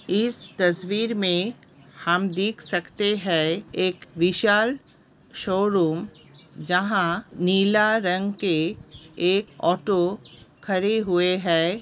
इस तस्वीर में हम देख सकते है एक विशाल शोरूम। जहा नीला रंग के ऑटो खड़े हुए है।